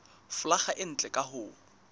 folaga e ntle ka ho